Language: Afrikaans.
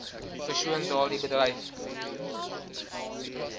persoon daardie bedryf